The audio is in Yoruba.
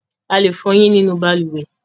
A lè fọ ẹyín nínú balùwẹ́